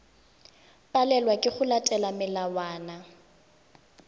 palelwa ke go latela melawana